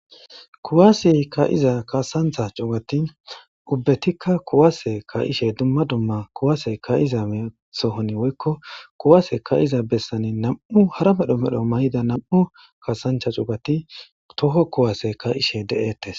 kuwaasey ka7iza kaasanxha cugati ubbetikka kuwaase kaishe dumma dumma kuwasey kayiza measohon woykko kuwase kayiza bessani nam7u hara medho medho may7ida nam7u kaasancha cugati toho kuwase ka7ishe de7ettes